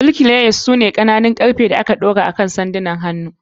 Birki levers su ne ƙananan levers ɗin ƙarfe da aka ɗora akan sandunan hannu.